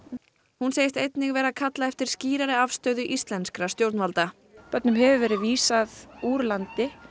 hún segist einnig vera að kalla eftir skýrari afstöðu íslenskra stjórnvalda börnum hefur verið vísað úr landi